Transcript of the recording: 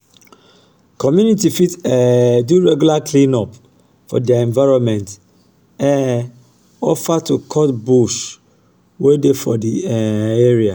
community fit um do regular clean-up of their environment um offer to cut bush wey dey for di um area